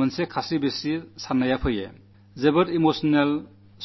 വളരെ അദ്ഭുതകരങ്ങളായ അനുഭവമുങ്ങളുണ്ടായി